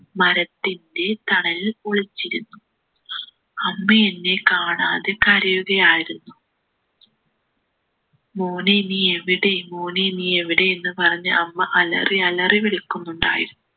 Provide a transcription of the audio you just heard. മരത്തിൻ്റെ തണലിൽ ഒളിച്ചിരുന്നു അമ്മയെന്നെ കാണാതെ കരയുകയായിരുന്നു മോനെ നീ എവിടെ മോനെ നീ എവിടെ എന്ന് പറഞ്ഞ് അമ്മ അലറി അലറി വിളിക്കുന്നുണ്ടായിരുന്നു